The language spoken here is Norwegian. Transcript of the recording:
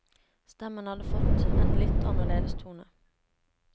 Stemmen hadde fått en litt annerledes tone.